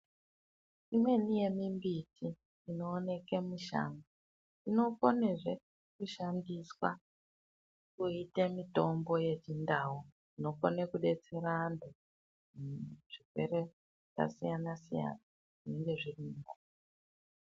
Imweni ye mimbiti ino oneke mushango ino konezve kushandiswa kuite mitombo ye chindau inokone kudetsera antu mu zvirwere zvaka siyana siyana zvinenge zviriyo.